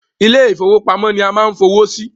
Ilé ìfọwọ́pamo ni a ma ń fowó sí.